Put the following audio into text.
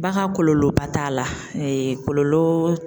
Ba ka kɔlɔlɔba t'a la kɔlɔlɔ.